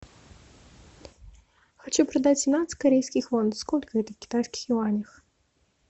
хочу продать семнадцать корейских вон сколько это в китайских юанях